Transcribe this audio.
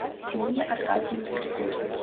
нине аркадьевне григорьевой